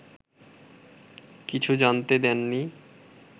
কিছু জানতে দেননি